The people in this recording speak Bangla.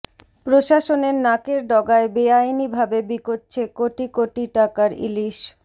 প্রশাসনের নাকের ডগায় বেআইনিভাবে বিকোচ্ছে কোটি কোটি টাকার ইলিশ